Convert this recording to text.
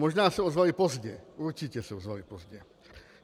Možná se ozvali pozdě, určitě se ozvali pozdě.